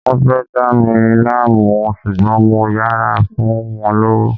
Wán fẹ́ dá mí láàmú ṣùgbọ́n mo yára fún wọn lówó